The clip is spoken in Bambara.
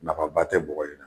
Nafaba tɛ bɔgɔ in na